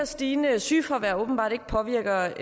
stigende sygefravær åbenbart ikke påvirker